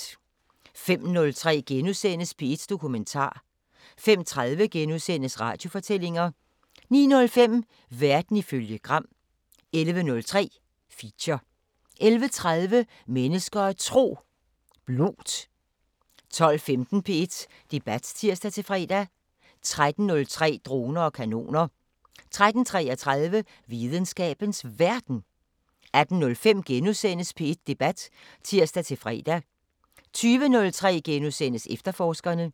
05:03: P1 Dokumentar * 05:30: Radiofortællinger * 09:05: Verden ifølge Gram 11:03: Feature 11:30: Mennesker og Tro: Blót 12:15: P1 Debat (tir-fre) 13:03: Droner og kanoner 13:33: Videnskabens Verden 18:05: P1 Debat *(tir-fre) 20:03: Efterforskerne *